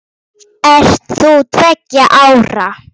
Ert þú tveggja ára?